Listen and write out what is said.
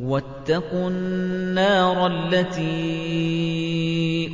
وَاتَّقُوا النَّارَ الَّتِي